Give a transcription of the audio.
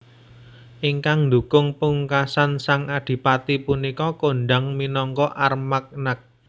Ingkang ndukung pungkasan sang Adipati punika kondhang minangka Armagnac